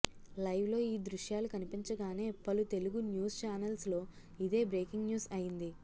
live లో ఈ దృశ్యాలు కనిపించగానే పలు తెలుగు న్యూస్ చానల్స్ లో ఇదే బ్రేకింగ్ న్యూస్ అయింది